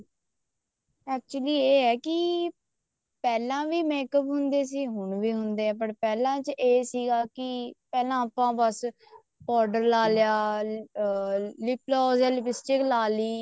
actually ਇਹ ਹੈ ਕੀ ਪਹਿਲਾਂ ਵੀ make up ਹੁੰਦੇ ਸੀ ਹੁਣ ਵੀ ਹੁੰਦੇ ਆ ਪਹਿਲਾਂ ਚ ਇਹ ਸੀਗਾ ਕੀ ਪਹਿਲਾਂ ਆਪਾਂ ਬੱਸ powder ਲਾ ਲਿਆ lip glows ਜਾਂ lip stick ਲਾ ਲਈ